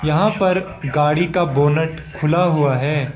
यहां पर गाड़ी का बोनट खुला हुआ है।